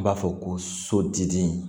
N b'a fɔ ko sodidi